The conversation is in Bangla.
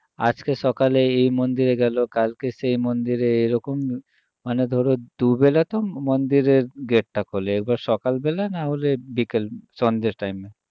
আজকে সকালে এই মন্দিরে গেল কালকে সেই মন্দিরে এরকম মানে ধরো দুবেলা তো মন্দিরের gate টা খোলে এবার সকাল্বেলা না হলে বিকেল সন্ধ্যের time এ